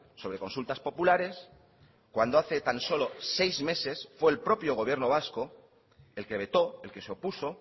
sobre consultas populares cuando hace tan solo seis meses fue el propio gobierno vasco el que vetó el que se opuso